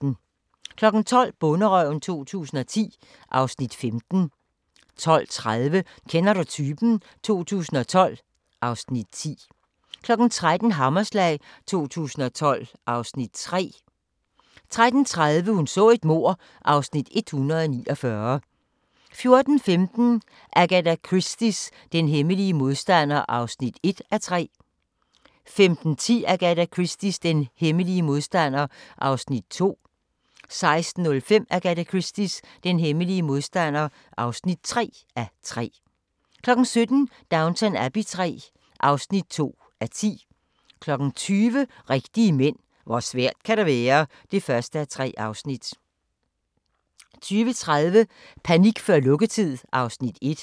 12:00: Bonderøven 2010 (Afs. 15) 12:30: Kender du typen? 2012 (Afs. 10) 13:00: Hammerslag 2012 (Afs. 3) 13:30: Hun så et mord (Afs. 149) 14:15: Agatha Christies Den hemmelige modstander (1:3) 15:10: Agatha Christies Den hemmelige modstander (2:3) 16:05: Agatha Christies Den hemmelige modstander (3:3) 17:00: Downton Abbey III (2:10) 20:00: Rigtige mænd - hvor svært kan det være? (1:3) 20:30: Panik før lukketid (Afs. 1)